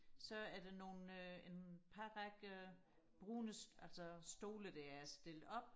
så er der nogle øh en par række brune altså stole der er stillet op